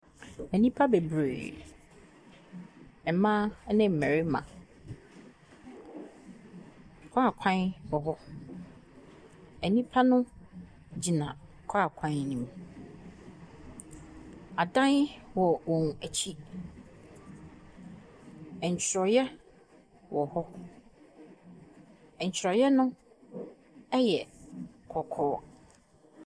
Nnipa bebree, mmaa ɛne mmɛrima. Kaa kwan wɔhɔ. Nnipa no gyina kaa kwan nim. Adan wɔ wɔn akyi. Ntwerɛ wɔhɔ. Ntwerɛ no ɛyɛ kɔkɔɔ.